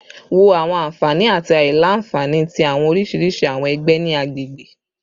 Wo awọn anfani ati aila-nfani ti awọn oriṣiriṣi awọn ẹgbẹ ni agbegbe